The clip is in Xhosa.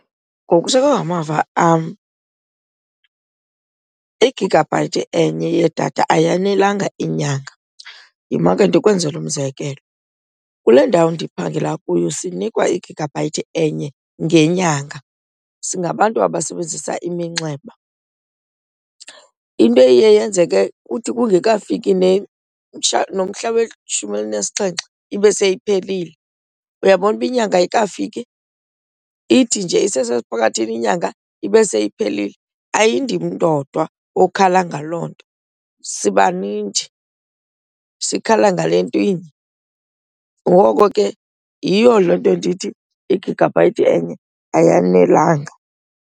Ngokusekwe ngamava am igigabhayithi enye yedatha ayanelanga inyanga. Yima ke ndikwenzele umzekelo. Kule ndawo ndiphangela kuyo sinikwa i-gigabyte enye ngenyanga singabantu abasebenzisa iminxeba. Into eye yenzeke kuthi kungekafiki nomhla weshumi elinesixhenxe ibe seyiphelile. Uyabona uba inyanga ayikafiki? Ithi nje isesesiphakathini inyanga ibe seyiphelile. Ayindim ndodwa okhala ngaloo nto sibanintshi sikhala ngale nto inye. Ngoko ke yiyo loo nto ndithi i-gigabyte enye ayanelanga.